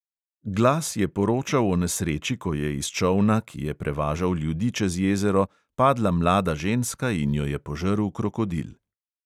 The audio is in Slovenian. Glas je poročal o nesreči, ko je iz čolna, ki je prevažal ljudi čez jezero, padla mlada ženska in jo je požrl krokodil.